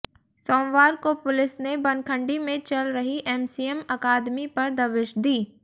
सोमवार को पुलिस ने बनखंडी में चल रही एमसीएम अकादमी पर दबिश दी